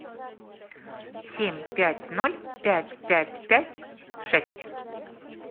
семь пять ноль пять пять пять шесть